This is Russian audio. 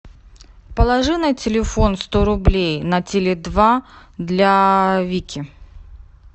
положи на телефон сто рублей на теле два для вики